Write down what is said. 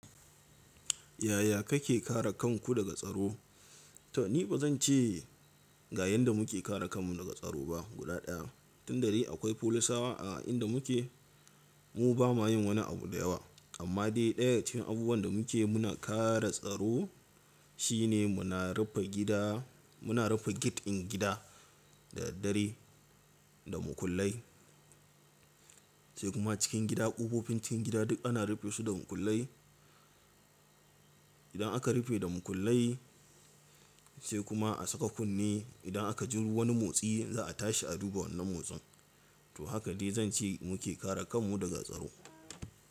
Yaya kake kare kanku daga tsaro? To ni ba zan ce ga yanda muke kare kanmu daga tsaro ba guda daya. Tundadai akwai folisawa a inda muke, mu bama yin wani abu da yawa. Amma dai daya cikin abubuwan da muke muna kare tsaro shine muna rufe gida muna rufe gate ɗin gida da daddare da makullai. Sai kuma cikin gida ƙofofi cikin gida duk ana rufe su da makullai. Idan aka rufe da makullai sai kuma a saka kunne idan aka ji wani motsi za a tashi a duba wannan motsin. To haka dai zan ce muke kare kanmu daga tsaro.